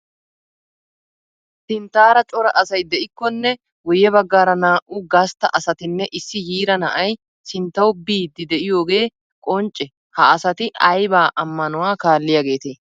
Sinttaara cora asay de'ikkonne guyye baggaara naa"u gastta asatinne issi yiira na'ay sinttawu biiddii de'iyogee qoncce ha asati ayba ammanuwa kaalliyageetee?